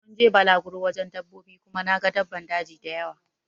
Mun je balaguro wajen dabbobi Kuma na gan daban daji dayawa.